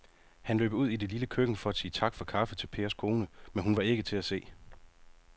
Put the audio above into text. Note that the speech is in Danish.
Han løb ud i det lille køkken for at sige tak for kaffe til Pers kone, men hun var ikke til at se.